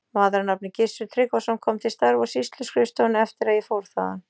Maður að nafni Gissur Tryggvason kom til starfa á sýsluskrifstofuna eftir að ég fór þaðan.